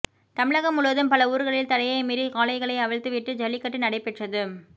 தமிழகம் முழுவதும் பல ஊர்களில் தடையை மீறி காளைகளை அவிழ்த்து விட்டு ஜல்லிக்கட்டு நடைபெற்றது